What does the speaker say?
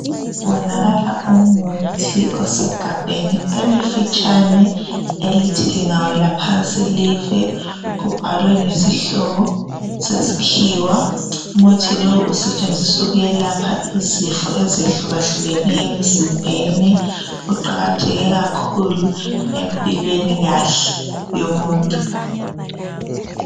Kubonakala umuthi osegabheni elifitshane. Elithi lingawela phansi life. Kubhalwe ngesihlobo seSikhiwa. Umuthi lowu usetshenziswa ukuyelapha izifo ezihlukahlukeneyo emzimbeni. Uqakathekile kakhulu empilweni kahle, yomuntu.